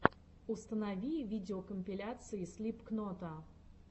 установи видеокомпиляции слипкнота